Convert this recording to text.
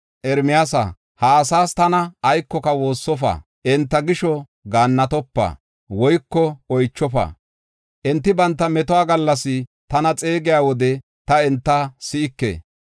“Ermiyaasa, ha asaas tana aykoka woossofa; enta gisho gaannatopa woyko oychofa. Enti banta metuwa gallas tana xeegiya wode ta enta si7ike.